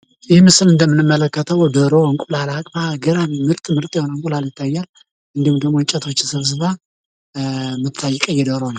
ይህ ምስል እንደምንመለከተው ዶሮ እንቁላል አቅፋ ገራሚ ምርጥ ምርጥ እንቁላል አቅፋ፣ እንዲሁም እንጨቶችን ሰብስባ የምትገኝ ቀይ ዶሮ ነች።